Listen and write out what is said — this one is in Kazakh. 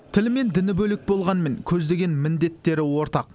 тілі мен діні бөлек болғанымен көздеген міндеттері ортақ